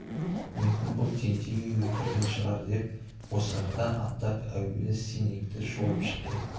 мүмкін ол тентек үйге кірген шығар деп босағадан аттап әуелі сенекті шолып шықты